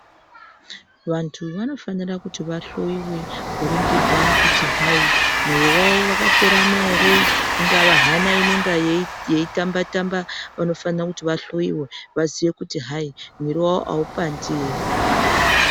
Vantu vanofanira kuti vahloyiwe kuringirwa kuti hai moyo wavo ingava hana inenge yeitamba tamba vanofana kuti vahloyiwe vaziye kuti hai mwiri wavo aupandi ere.